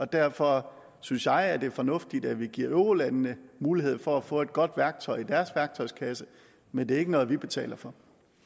derfor synes jeg at det er fornuftigt at vi giver eurolandene mulighed for at få et godt værktøj i deres værktøjskasse men det er ikke noget vi betaler for